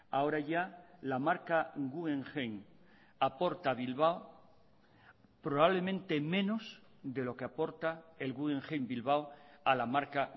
ahora ya la marca guggenheim aporta a bilbao probablemente menos de lo que aporta el guggenheim bilbao a la marca